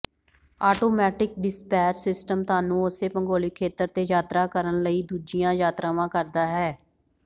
automatic dispatch system ਤੁਹਾਨੂੰ ਉਸੇ ਭੂਗੋਲਿਕ ਖੇਤਰ ਤੇ ਯਾਤਰਾ ਕਰਨ ਲਈ ਦੂਜੀਆਂ ਯਾਤਰਾਵਾਂ ਕਰਦਾ ਹੈ